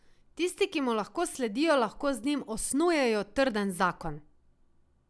Tisti, ki mu lahko sledijo, lahko z njim osnujejo trden zakon.